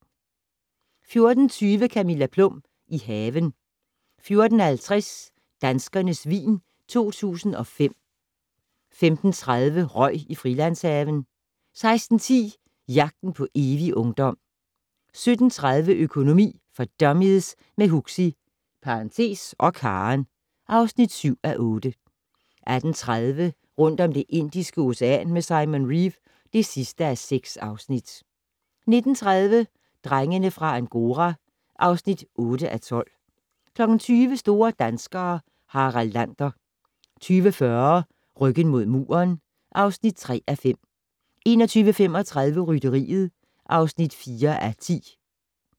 14:20: Camilla Plum - i haven 14:50: Danskernes vin 2005 15:30: Røg i Frilandshaven 16:10: Jagten på evig ungdom 17:30: Økonomi for dummies - med Huxi (og Karen) (7:8) 18:30: Rundt om Det Indiske Ocean med Simon Reeve (6:6) 19:30: Drengene fra Angora (8:12) 20:00: Store danskere - Harald Lander 20:40: Ryggen mod muren (3:5) 21:35: Rytteriet (4:10)